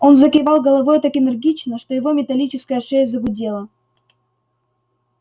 он закивал головой так энергично что его металлическая шея загудела